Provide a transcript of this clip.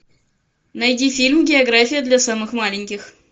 найди фильм география для самых маленьких